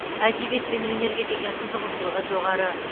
әдебиет пен өнерге деген қызығушылығы жоғары